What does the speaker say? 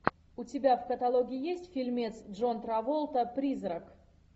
у тебя в каталоге есть фильмец джон траволта призрак